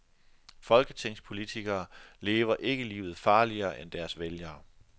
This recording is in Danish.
Folketingspolitikere lever ikke livet farligere end deres vælgere.